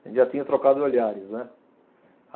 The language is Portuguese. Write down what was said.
A gente já tinha trocado olhares, né?